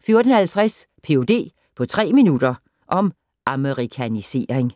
14:50: Ph.d. på tre minutter - om amerikanisering